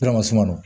suman nɔ